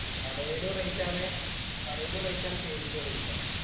കടേലും rate ആണ്. കടേലും rate ആ page ഇലും rate ആ